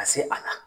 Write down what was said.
Ka se a la